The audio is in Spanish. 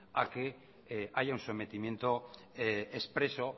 a que haya un sometimiento expreso